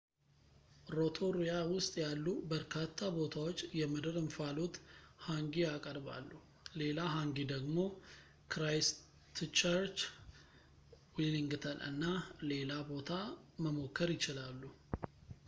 ሮቶሩያ ውስጥ ያሉ በርካታ ቦታዎች የምድር እንፋሎት ሃንጊ ያቀርባሉ ሌላ ሃንጊ ደግሞ ክራይስትቸርች ዌሊንግተን እና ሌላ ቦታ መሞከር ይችላል